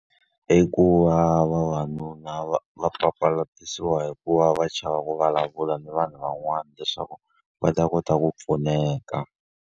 I ku va vavanuna va va papalatisiwa hi ku va va chava ku vulavula na vanhu van'wana leswaku va ta kota ku pfuneka.